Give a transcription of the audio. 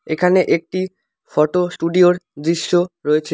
এখানে একটি ফটো স্টুডিওর দৃশ্য রয়েছে।